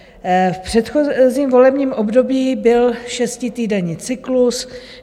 V předchozím volebním období byl šestitýdenní cyklus.